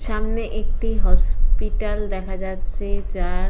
সামনে একটি হসপিটাল দেখা যাচ্ছে যার।